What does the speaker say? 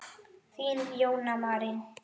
Þín, Jóna Marín.